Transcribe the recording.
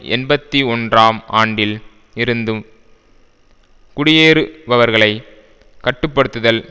எண்பத்தி ஒன்றாம் ஆண்டில் இருந்து குடியேறுபவர்களை கட்டு படுத்துதல்